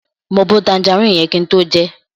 Mo bo tanjaríìnì yẹn kin tó jẹẹ́.